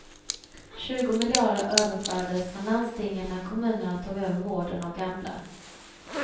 Tjugo miljarder överfördes från landstingen när kommunerna tog över vården av gamla.